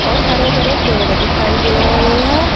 और हरे भरे पेड़ दिखाई दे रहे हैं।